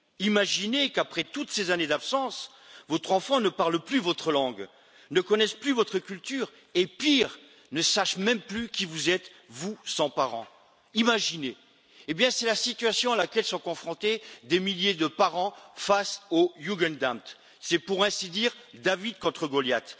Imaginez qu'après toutes ces années d'absence, votre enfant ne parle plus votre langue, ne connaisse plus votre culture et, pire, ne sache même plus qui vous êtes, vous, son parent. Imaginez. Eh bien! c'est la situation à laquelle sont confrontés des milliers de parents face au Jugendamt, c'est pour ainsi dire David contre Goliath.